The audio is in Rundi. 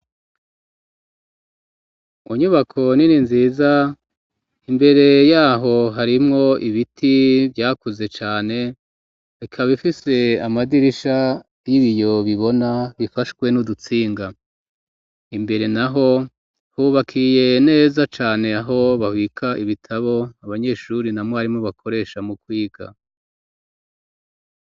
Mu nyubako nini nziza, imbere yaho harimwo ibiti vyakuze cane ,bikaba ifise amadirisha y'ibiyo bibona ,bifashwe n'udutsinga ,imbere naho hubakiye neza cane aho babika ibitabo, abanyeshuri na mwarimu bakoresha mu kwiga.